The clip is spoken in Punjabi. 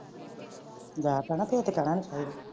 ਜੇਖਾਨਾ ਪੇਤ .